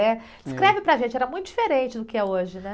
É? .escreve para a gente, era muito diferente do que é hoje, né?